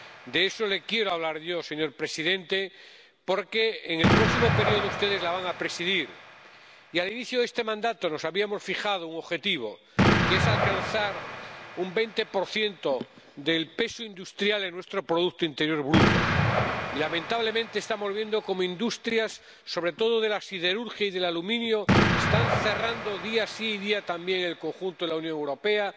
De eso le quiero hablar yo, señor presidente, porque en el próximo periodo ustedes la van a presidir y, al inicio de este mandato, nos habíamos fijado un objetivo, que es que el peso de la industria alcance el 20 de nuestro producto interior bruto y, lamentablemente, estamos viendo cómo industrias —sobre todo de la siderurgia y del aluminio— están cerrando día sí y día también en el conjunto de la Unión Europea.